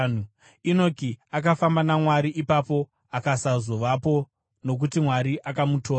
Enoki akafamba naMwari; ipapo akasazovapo, nokuti Mwari akamutora.